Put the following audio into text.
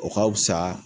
O ka fusa